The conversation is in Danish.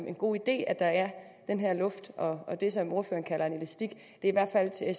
en god idé at der er den her luft og det som ordføreren kalder en elastik det er